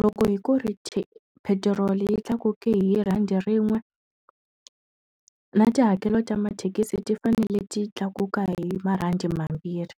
Loko hi ku ri petiroli yi tlakuke hi rhandi rin'we, na tihakelo ta mathekisi ti fanele ti tlakuka hi marhandi mambirhi.